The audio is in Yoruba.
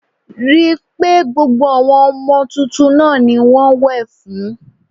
Rí i pé gbogbo àwọn ọmọ tuntun náà ni wọ́n wẹ̀ fún